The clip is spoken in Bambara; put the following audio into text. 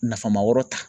Nama yɔrɔ ta